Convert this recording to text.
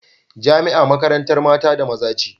Jamia makarantar mata da maza ce